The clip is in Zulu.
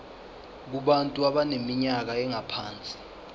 kubantu abaneminyaka engaphansi